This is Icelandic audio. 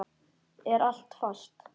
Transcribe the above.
Er allt fast?